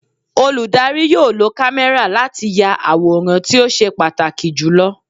Olùdarí yóò lo kámẹ́rà láti ya àwòrán tí ó ṣe pàtàkì jù lọ.